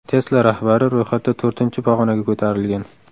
Tesla rahbari ro‘yxatda to‘rtinchi pog‘onaga ko‘tarilgan.